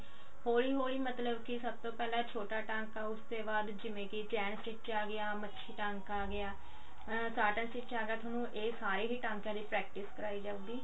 ਹੋਲੀ ਹੋਲੀ ਮਤਲਬ ਕੀ ਸਭ ਤੋਂ ਪਹਿਲਾਂ ਛੋਟਾ ਟਾਂਕਾ ਉਸ ਤੋਂ ਬਾਅਦ ਜਿਵੇਂ ਕੀ ਚੈਨ stich ਆ ਗਿਆ ਮੱਛੀ ਟਾਂਕਾ ਆ ਗਿਆ tartan stich ਆ ਗਿਆ ਇਹ ਸਾਰੇ ਹੀ ਟਾਂਕਿਆਂ ਦੀ practice ਕਰਵਾਈ ਜਾਉਗੀ